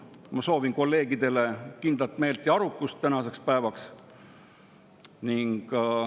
Ma soovin kolleegidele tänaseks päevaks kindlat meelt ja arukust.